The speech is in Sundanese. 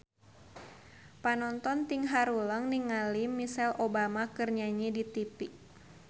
Panonton ting haruleng ningali Michelle Obama keur nyanyi di tipi